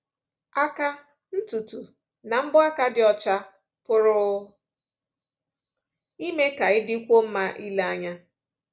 Aka, ntutu, na mbọ aka dị ọcha pụrụ ime ka ị dịkwuo mma ile anya.